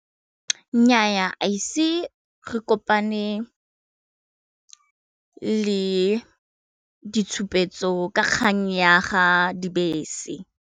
Nnyaa haise re kopane le ditshupetso ka kgang ya ga dibese.